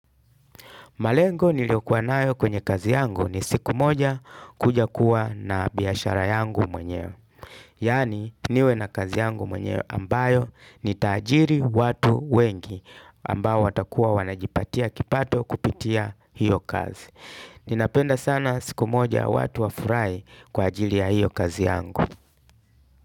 Malengo niliyokuwa nayo kwenye kazi yangu ni siku moja kuja kuwa na biashara yangu mwenyewe. Yani niwe na kazi yangu mwenyewe ambayo nitaajiri watu wengi ambao watakuwa wanajipatia kipato kupitia hiyo kazi. Ninapenda sana siku moja watu wafurai kwa ajili ya hiyo kazi yangu.